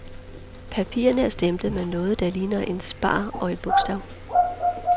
Papirerne er stemplet med noget, der ligner en spar og et bogstav.